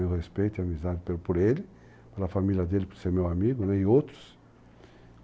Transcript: Eu respeito a amizade por ele, pela família dele, por ser meu amigo e outros.